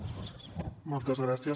moltes gràcies